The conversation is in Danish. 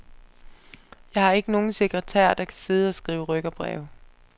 Jeg har ikke nogen sekretær, der kan sidde og skrive rykkerbreve.